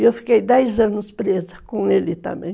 E eu fiquei dez anos presa com ele também.